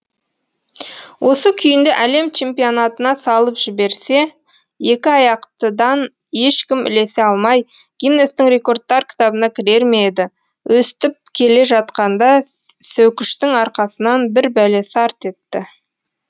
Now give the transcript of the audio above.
осы күйінде әлем чемпионатына салып жіберсе екі аяқтыдан ешкім ілесе алмай гиннестің рекордтар кітабына кірер ме еді өстіп келе жатқанда сөкіштің арқасынан бірбәле сарт етті